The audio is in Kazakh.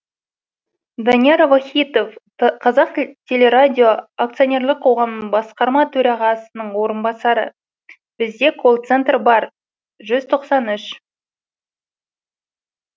данияр вахитов қазтелерадио акцтонерлік қоғамның басқарма төрағасының орынбасары бізде колл центр бар жүз тоқсан үш